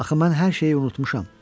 Axı mən hər şeyi unutmuşam.